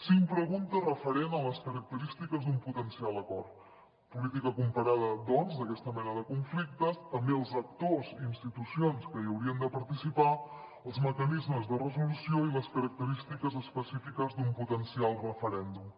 cinc preguntes referents a les característiques d’un potencial acord política comparada doncs d’aquesta mena de conflictes també els actors i institucions que hi haurien de participar els mecanismes de resolució i les característiques específiques d’un potencial referèndum